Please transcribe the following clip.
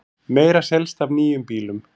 Meira selst af nýjum bílum